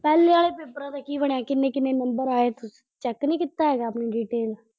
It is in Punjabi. ਪਹਿਲੇ ਆਲੇ ਨੰਬਰਾਂ ਦਾ ਕੀ ਬਣਿਆ, ਕਿੰਨੇ ਕਿੰਨੇ ਨੰਬਰ ਆਏ, ਚੈੱਕ ਨੀ ਕੀਤਾ ਹੈਗਾ ਤੁਹੀਂ ਡੀਟੇਲ।